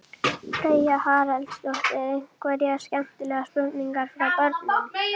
Þetta er að vissu marki rétt en jafnframt misvísandi einföldun.